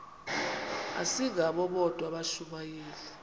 asingabo bodwa abashumayeli